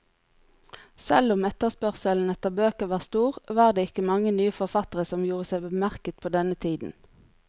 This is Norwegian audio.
Selv om etterspørselen etter bøker var stor, var det ikke mange nye forfattere som gjorde seg bemerket på denne tiden.